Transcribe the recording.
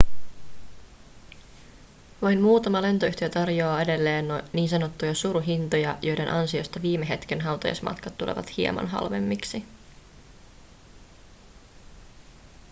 vain muutama lentoyhtiö tarjoaa edelleen ns suruhintoja joiden ansiosta viime hetken hautajaismatkat tulevat hieman halvemmiksi